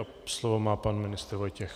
A slovo má pan ministr Vojtěch.